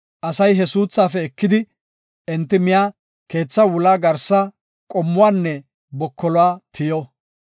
Asay he suuthaafe ekidi enti miya keetha wula garsa, qomuwanne bokoluwa tiyo.